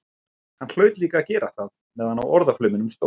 Hann hlaut líka að gera það meðan á orðaflauminum stóð.